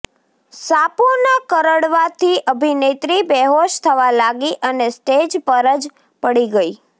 સાપોના કરડવા થી અભિનેત્રી બેહોશ થવા લાગી અને સ્ટેજ પર જ પડી ગયી